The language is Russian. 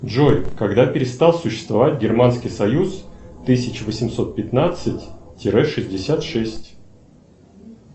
джой когда перестал существовать германский союз тысяча восемьсот пятнадцать тире шестьдесят шесть